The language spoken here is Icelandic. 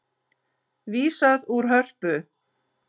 Vísað úr Hörpu